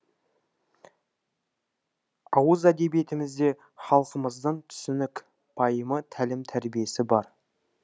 ауыз әдебиетімізде халқымыздың түсінік пайымы тәлім тәрбиесі бар